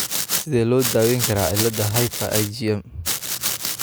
Sidee loo daweyn karaa cilada hyper IgM ?